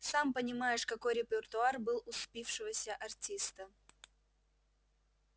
сам понимаешь какой репертуар был у спившегося артиста